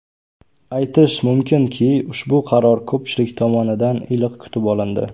Aytish mumkinki, ushbu qaror ko‘pchilik tomonidan iliq kutib olindi.